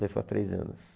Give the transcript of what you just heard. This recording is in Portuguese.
Dois para três anos.